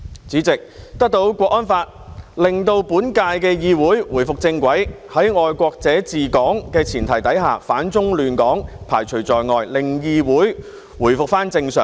主席，《香港國安法》的實施，令本屆議會回復正軌，在"愛國者治港"的前提下，反中亂港被排除在外，令議會回復正常。